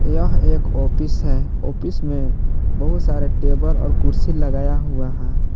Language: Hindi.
यह एक आपिश है आपिश में बहुत सारे टेबल और कुर्सी लगाया हुआ है।